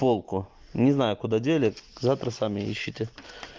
полку не знаю куда дели завтра сами ищете